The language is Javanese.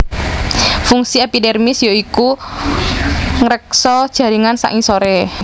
Fungsi epidermis ya iku ngreksa jaringan sangisoré